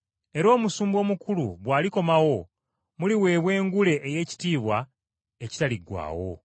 Era Omusumba Omukulu bw’alikomawo, muliweebwa engule ey’ekitiibwa ekitaliggwaawo.